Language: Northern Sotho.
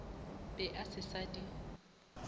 be a se sa di